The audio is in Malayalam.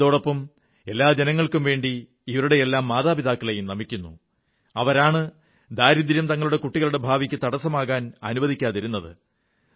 ഇതോടൊപ്പം ഞാൻ എല്ലാ ജനങ്ങൾക്കും വേണ്ടി ഇവരുടെയെല്ലാം മാതാപിതാക്കളെയും നമിക്കുന്നു അവരാണ് ദാരിദ്ര്യം തങ്ങളുടെ കുട്ടികളുടെ ഭാവിക്ക് തടസ്സമാകാൻ അനുവദിക്കാതിരുന്നത്